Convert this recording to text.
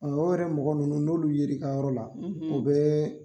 o yɛrɛ mɔgɔ ninnu n'olu ye ra i ka yɔrɔ la o bɛ